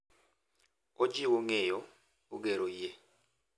Ojiwo ng’eyo, ogero yie,